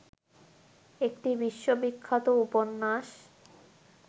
একটি বিশ্ববিখ্যাত উপন্যাস